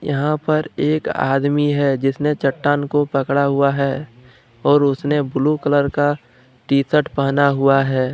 यहां पर एक आदमी है जिसने चट्टान को पकड़ा हुआ है और उसने ब्लू कलर का टी शर्ट पहना हुआ है।